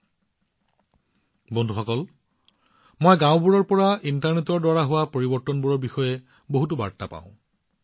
বন্ধুসকল মই গাওঁবোৰৰ পৰা এনে বহুতো বাৰ্তা পাওঁ যিবোৰে ইণ্টাৰনেটৰ দ্বাৰা হোৱা পৰিৱৰ্তনবোৰ মোৰ সৈতে ভাগ বতৰা কৰে